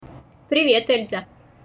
привет эльза